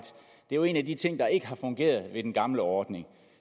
det jo er en af de ting der ikke har fungeret i den gamle ordning